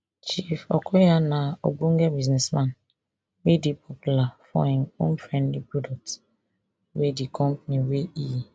chief okoya na ogbonge businessman wey dey popular for im homefriendly products wey di company wey e